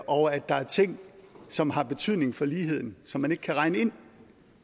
og at der er ting som har betydning for ligheden som man ikke kan regne ind